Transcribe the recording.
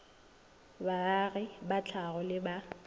baagi ba tlhago le ba